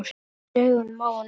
Það var hatur í augunum á honum.